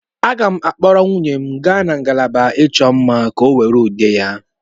M ga-akpọrọ nwunye m gaa na ngalaba ịchọ mma, ka ọ were ude ya.